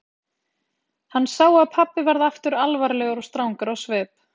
Hann sá að pabbi varð aftur alvarlegur og strangur á svip.